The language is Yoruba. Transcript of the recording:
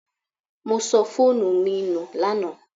I lost my phone yesterday